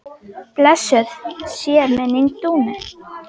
Blessuð sé minning Dúnu.